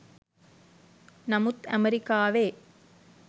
නමුත් ඇමරිකාවේ